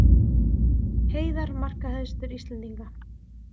Heiðar markahæstur Íslendinga